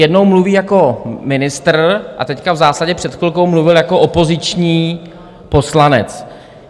Jednou mluví jako ministr a teď v zásadě před chvilkou mluvil jako opoziční poslanec.